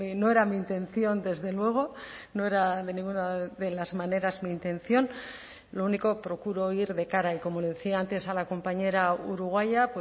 no era mi intención desde luego no era de ninguna de las maneras mi intención lo único procuro ir de cara y como le decía antes a la compañera uruguaya